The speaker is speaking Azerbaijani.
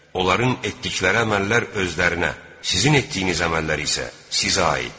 Onların etdikləri əməllər özlərinə, sizin etdiyiniz əməllər isə sizə aiddir.